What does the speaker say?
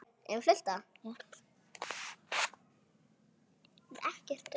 Slík tilboð eru afar algeng, til dæmis í matvöruverslunum þar sem kynnt eru tilboð dagsins.